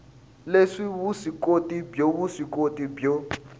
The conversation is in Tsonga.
le vuswikoti byo vuswikoti byo